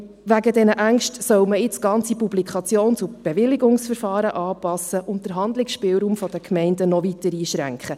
Wegen dieser Ängste soll man jetzt ganze Publikations- und Bewilligungsverfahren anpassen und den Handlungsspielraum der Gemeinde noch weiter einschränken.